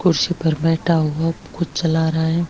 कुर्सी पर बैठा हुआ कुछ चला रहा है।